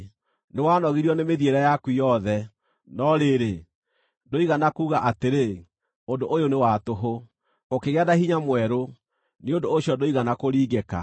Nĩwanogirio nĩ mĩthiĩre yaku yothe, no rĩrĩ, ndũigana kuuga atĩrĩ, ‘Ũndũ ũyũ nĩ wa tũhũ.’ Ũkĩgĩa na hinya mwerũ, nĩ ũndũ ũcio ndũigana kũringĩka.